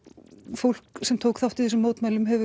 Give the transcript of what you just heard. fólk sem tók þátt í þessum mótmælum hefur